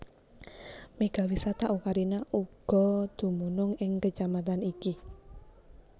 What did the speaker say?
Mega Wisata Ocarina uga dumunung ing Kecamatan iki